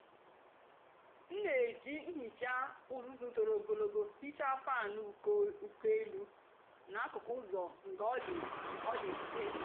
m na-èjì nhìcha ùzùzù tọ́rọ́ ògólógó hìchaa fáan úkò ụ́lọ́ na akùkù ụ́zọ́ ngá ọ dị́ ọ dị́ mfe.